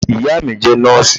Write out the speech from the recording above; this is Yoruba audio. iyá mí jé nọọsi